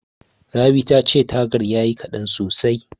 Rabi tace tagar tayi kaɗan sosai.